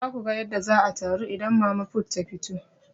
Za ku ga yadda za a taru idan mama put ta fito.